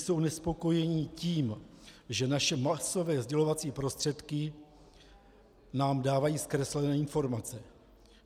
Jsou nespokojeni tím, že naše masové sdělovací prostředky nám dávají zkreslené informace.